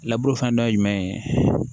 laburu fana dɔ ye jumɛn ye